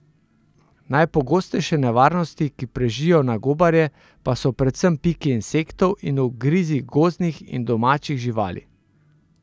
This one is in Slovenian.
Najpogostejše nevarnosti, ki prežijo na gobarje, pa so predvsem piki insektov in ugrizi gozdnih in domačih živali.